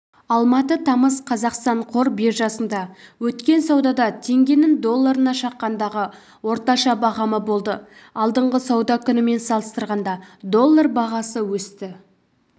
алматы тамыз қазақстан қор биржасында өткен саудада теңгенің долларына шаққандағы орташа бағамы болды алдыңғы сауда күнімен салыстырғанда доллар бағасы өсті